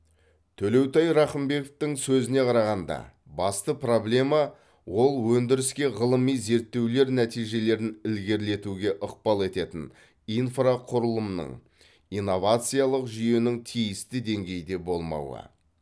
төлеутай рақымбековтың сөзіне қарағанда басты проблема ол өндіріске ғылыми зерттеулер нәтижелерін ілгерілетуге ықпал ететін инфрақұрылымның инновациялық жүйенің тиісті деңгейде болмауы